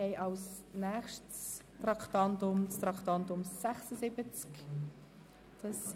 Wir fahren weiter mit dem Traktandum 76.